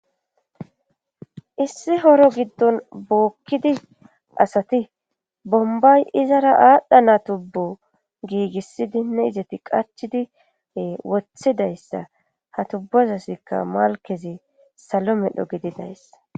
issi horo giddon bookkidi asati bombay izara aadhdhana tubbo giigissidinne izeti qacchidi e wothidayssa ha tubbozasikka malkezi salo medho gididayssa